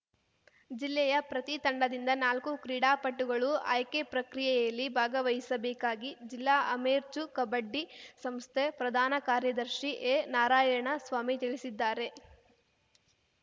ಜಿಲ್ಲೆಯ ಪ್ರತಿ ತಂಡದಿಂದ ನಾಲ್ಕು ಕ್ರೀಡಾಪಟುಗಳು ಆಯ್ಕೆ ಪ್ರಕ್ರಿಯೆಯಲ್ಲಿ ಭಾಗವಹಿಸಬೇಕಾಗಿ ಜಿಲ್ಲಾ ಅಮೇರ್ಚೂ ಕಬಡ್ಡಿ ಸಂಸ್ಥೆ ಪ್ರಧಾನ ಕಾರ್ಯದರ್ಶಿ ಎನಾರಾಯಣ ಸ್ವಾಮಿ ತಿಳಿಸಿದ್ದಾರೆ